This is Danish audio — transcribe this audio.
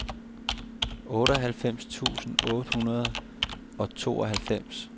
otteoghalvfems tusind otte hundrede og tooghalvfems